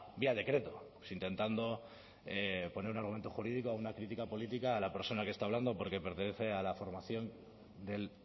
vía decreto intentando poner un argumento jurídico a una crítica política a la persona que está hablando porque pertenece a la formación del